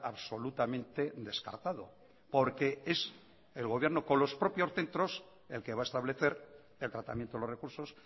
absolutamente descartado porque es el gobierno con los propios centros el que va a establecer el tratamiento de los recursos